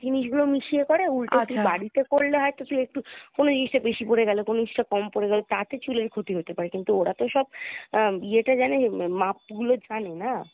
জিনিসগুলো মিশিয়ে করে উল্টো তুই বাড়িতে করলে হয়তো তুই একটু কোনো জিনিসটা বেশি পরে গেলো কোনো জিনিসটা কম পরে গেলো তাতে চুলের ক্ষতি হতে পারে কিন্তু ওরা তো সব আহ ইয়েটা জানে হম মাপগুলো জানে, না?